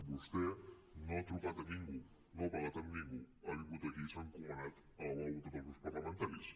vostè no ha trucat a ningú no ha parlat amb ningú ha vingut aquí i s’ha encomanat a la bona voluntat dels grups parlamentaris